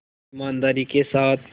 ईमानदारी के साथ